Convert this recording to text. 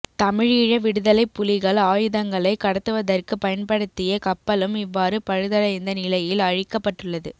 தமிழீழ விடுதலைப் புலிகள் ஆயுதங்களை கடத்துவதற்கு பயன்படுத்திய கப்பலும் இவ்வாறு பழுதடைந்த நிலையில் அழிக்கப்பட்டுள்ளது